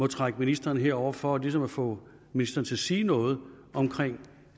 trække ministeren herover for ligesom at få ministeren til at sige noget om